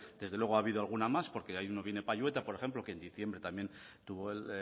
desde luego ha habido alguna más porque payueta por ejemplo que en diciembre tuvo el